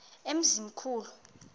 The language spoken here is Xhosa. emzimkhulu